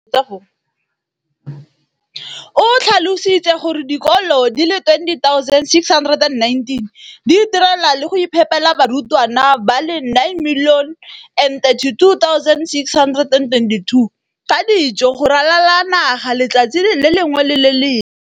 o tlhalositse gore dikolo di le 20 619 di itirela le go iphepela barutwana ba le 9 032 622 ka dijo go ralala naga letsatsi le lengwe le le lengwe.